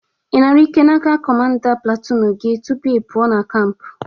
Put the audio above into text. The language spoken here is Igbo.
Ị nara ike n'aka kọmanda platunu gị tupu ipụa na kamp?